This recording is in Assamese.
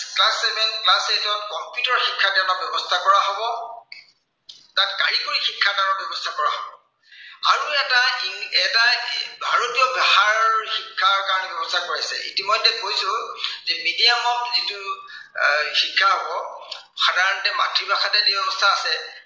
ভাৰতীয় পঢ়াৰ শিক্ষাৰ তাৰ ব্য়ৱস্থা কৰা হৈছে। ইতিমধ্য়ে আগতেই কৈছো, যে medium হওক যিটো শিক্ষা এৰ হব, সাধাৰণতে মাতৃভাষাতে দিয়াৰ ব্য়ৱস্থা আছে।